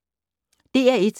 DR1